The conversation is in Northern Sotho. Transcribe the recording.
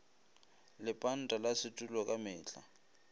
lepanta la setulo ka mehla